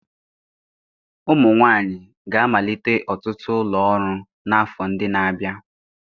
Ụmụ nwanyị ga-amalite ọtụtụ ụlọ ọrụ n'afọ ndị na-abịa